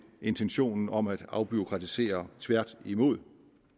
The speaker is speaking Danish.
intentionen om at afbureaukratisere tværtimod